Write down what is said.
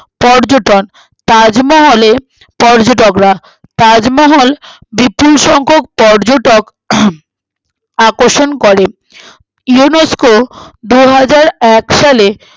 পর্যন্টন তাজমহলে পর্যটকেরা তাজমহল বিপুল সংখ্যক পর্যটক আকর্ষণ করে UNESCO দুহাজারএক সালে